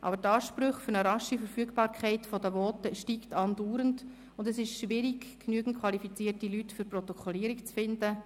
Aber die Ansprüche an eine rasche Verfügbarkeit der Voten steigen andauernd, und es ist schwierig, genügend qualifizierte Leute für die Protokollierung zu finden.